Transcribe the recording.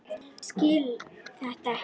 Skil þetta ekki.